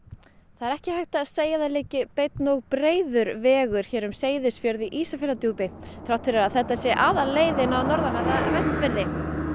það er ekki hægt að segja að það liggi beinn og breiður vegur hér um Seyðisfjörð í Ísafjarðardjúpi þrátt fyrir að þetta sé aðalleiðin á norðanverða Vestfirði